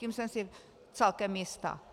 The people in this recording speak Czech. Tím jsem si celkem jista.